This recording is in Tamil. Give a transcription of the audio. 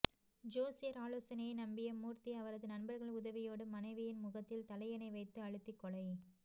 ஜோசியர் ஆலோசனையை நம்பிய மூர்த்தி அவரது நண்பர்கள் உதவியோடு மனைவியின் முகத்தில் தலையணை வைத்து அழுத்தி கொலை